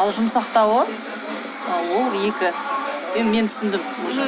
ал жұмсақтауы ол екі енді мен түсіндім уже